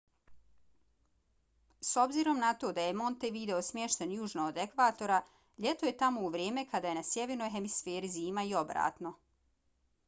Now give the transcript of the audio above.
s obzirom na to da je montevideo smješten južno od ekvatora ljeto je tamo u vrijeme kada je na sjevernoj hemisferi zima i obratno